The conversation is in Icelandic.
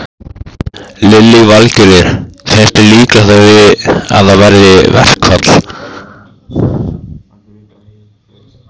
Lillý Valgerður: Finnst þér líklegt að það verði verkfall?